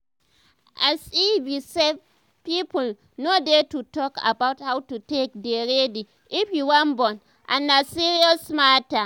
as e be sef people no dey to talk about how to take dey ready if you wan born and na serious matter